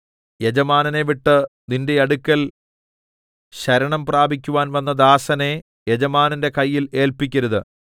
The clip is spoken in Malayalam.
യജമാനനെ വിട്ട് നിന്റെ അടുക്കൽ ശരണം പ്രാപിക്കുവാൻ വന്ന ദാസനെ യജമാനന്റെ കയ്യിൽ ഏല്പിക്കരുത്